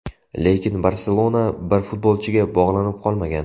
Lekin ‘Barselona’ bir futbolchiga bog‘lanib qolmagan.